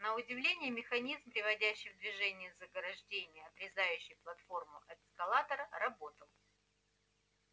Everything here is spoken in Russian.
на удивление механизм приводящий в движение заграждение отрезающее платформу от эскалатора работал